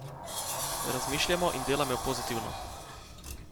Razmišljajmo in delajmo pozitivno!